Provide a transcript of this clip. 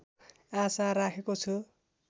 आशा राखेको छु